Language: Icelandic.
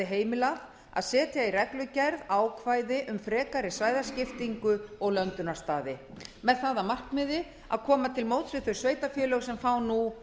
heimilað að setja í reglugerð ákvæði um frekari svæðaskiptingu og löndunarstaði með það að markmiði að koma til móts við þau sveitarfélög sem fá nú